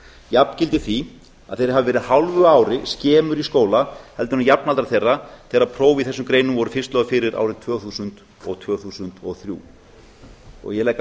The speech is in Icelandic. jafngildir því að þeir hafi verið hálfu ári skemur í skóla en jafnaldrar þeirra þegar próf í þessum greinum voru fyrst lögð fyrir árið tvö þúsund og tvö þúsund og þrjú ég legg áherslu